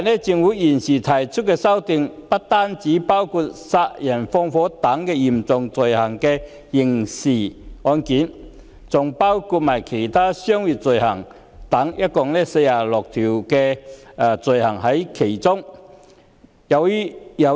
政府現時提出的修訂，不單包括殺人放火等嚴重刑事罪行，還包括其他商業罪行，涉及共46項罪行類別。